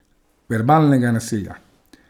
Verbalnega nasilja.